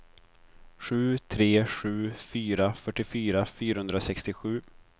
sju tre sju fyra fyrtiofyra fyrahundrasextiosju